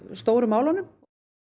stóru málunum